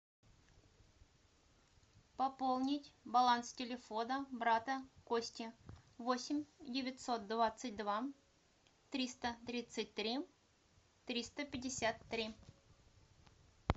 пополнить баланс телефона брата кости восемь девятьсот двадцать два триста тридцать три триста пятьдесят три